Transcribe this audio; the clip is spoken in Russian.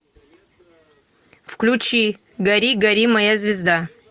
включи гори гори моя звезда